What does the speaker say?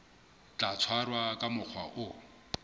tla tshwarwa ka mokgwa o